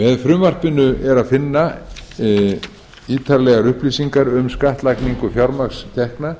með frumvarpinu er að finna ítarlega upplýsingar um skattlagningu fjármagnstekna